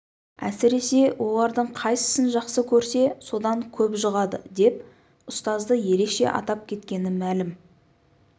әсіресе олардың қайсысын жақсы көрсе содан көп жұғады деп ұстазды ерекше атап кеткені мәлім